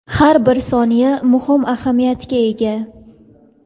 har bir soniya muhim ahamiyatga ega.